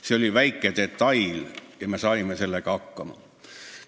See oli väike detail ja me saime sellega hakkama.